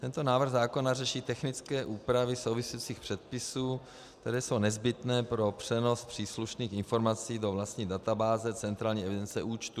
Tento návrh zákona řeší technické úpravy souvisejících předpisů, které jsou nezbytné pro přenos příslušných informací do vlastní databáze centrální evidence účtů.